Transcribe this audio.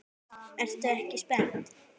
Ertu ekki spennt?